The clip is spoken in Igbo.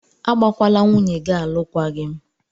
Agbakwala nwunye gị alụkwaghịm!